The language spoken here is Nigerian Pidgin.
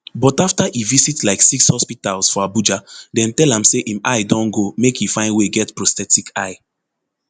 but after e visit like six hospitals for abuja dem tell am say im eye don go make e find way get prosthetic eye